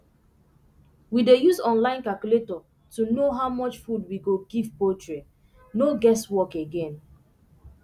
we dey use online calculator to know how much food we go give poultry no guess work again